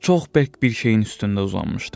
Çox bərk bir şeyin üstündə uzanmışdım.